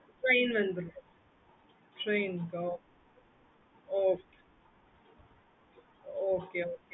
okay mam